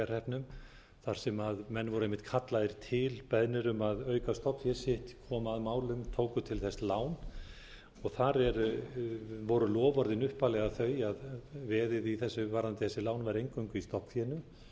bæjarhreppnum þar sem menn voru einmitt kallaðir til beðnir um að auka stofnfé sitt koma að málum tóku til þess lán þar voru loforðin upphaflega þau að veðið í þessu varðandi þessi lán var eingöngu í stofnfénu síðan hafa